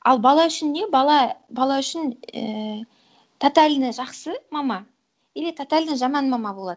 ал бала үшін не бала бала үшін ііі тотально жақсы мама или тотально жаман мама болады